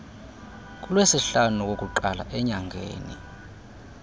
kulwesihlanu wokuqala enyangeni